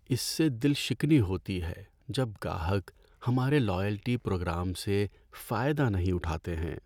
اس سے دل شکنی ہوتی ہے جب گاہک ہمارے لائلٹی پروگرام سے فائدہ نہیں اٹھاتے ہیں۔